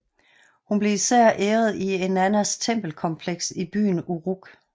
Hun blev især æret i Eannas tempelkompleks i byen Uruk